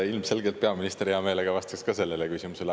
Ilmselgelt peaminister hea meelega vastaks ka sellele küsimusele.